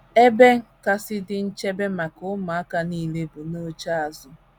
Ebe kasị dị nchebe maka ụmụaka nile bụ n’oche azụ.